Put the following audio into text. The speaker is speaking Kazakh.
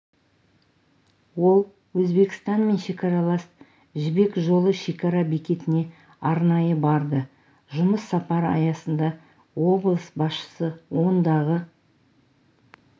ол өзбекстанмен шекаралас жібек жолы шекара бекетіне арнайы барды жұмыс сапары аясында облыс басшысы ондағы